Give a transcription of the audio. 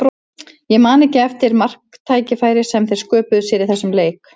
Ég man ekki eftir marktækifæri sem þeir sköpuðu sér í þessum leik.